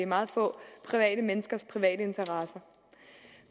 meget få private menneskers private interesser